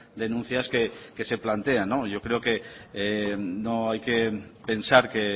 denuncias que se plantean yo creo no hay que pensar que